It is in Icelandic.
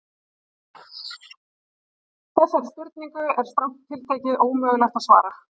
Þessari spurningu er strangt til tekið ómögulegt að svara.